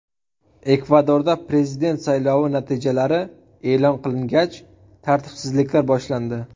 Ekvadorda prezident saylovi natijalari e’lon qilingach, tartibsizliklar boshlandi.